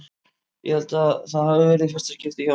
Ég held að það hafi verið í fyrsta skipti hjá honum.